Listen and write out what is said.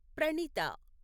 Pranitha